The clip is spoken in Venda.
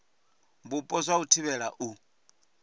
vhupo zwa u thivhela u